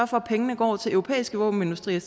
for at pengene går til europæiske våbenindustrier i